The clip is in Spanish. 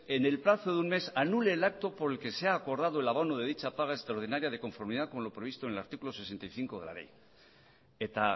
en el plazo de un mes anule el acto por el que se acordado el abono de dicha paga extraordinaria de conformidad con lo previsto en el artículo sesenta y cinco de la ley eta